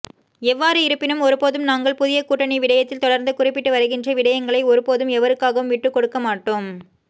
எவ்வாறு இருப்பினும் ஒருபோதும் நாங்கள் புதிய கூட்டணி விடயத்தில் தொடர்ந்து குறிப்பிட்டு வருகின்ற விடயங்களை ஒருபோதும் எவருக்காகவும் விட்டுக் கொடுக்கமாட்டோம்